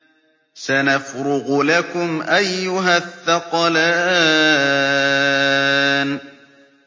سَنَفْرُغُ لَكُمْ أَيُّهَ الثَّقَلَانِ